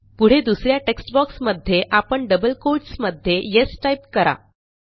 पुढे दुस या टेक्स्ट boxमध्ये आपण double कोट्स मध्ये येस टाईप करा